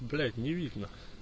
блять не видно